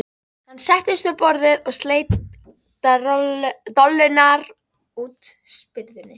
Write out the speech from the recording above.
Hann settist við borðið og sleit dollurnar úr spyrðunni.